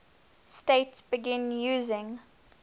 states began using